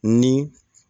Ni